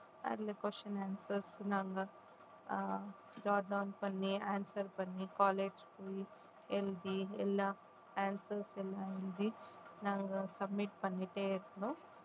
அதுல question answer சொன்னாங்க அஹ் பண்ணி answer பண்ணி college போயி எழுதி எல்லாம் answers எல்லாம் எழுதி நாங்க submit பண்ணிட்டே இருந்தோம்